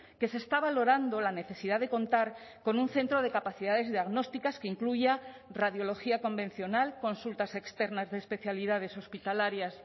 que se está valorando la necesidad de contar con un centro de capacidades diagnósticas que incluya radiología convencional consultas externas de especialidades hospitalarias